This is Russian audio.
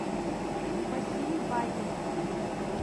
василий бадин